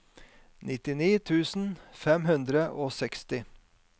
nittini tusen fem hundre og seksti